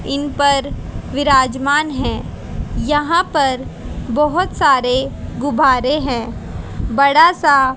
इन पर विराजमान हैं यहां पर बहोत सारे गुब्बारे हैं बड़ा सा --